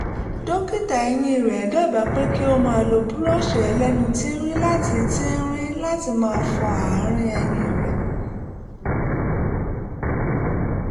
dókítà eyín rẹ̀ dábàá pé kí ó máa lo búrọ́ọ̀ṣì ẹlẹ́nu tíírín láti tíírín láti máa fi fọ ààrín eyín rẹ̀